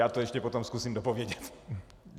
Já to ještě potom zkusím dopovědět.